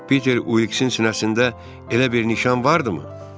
Peter Uliksin sinəsində elə bir nişan vardımı?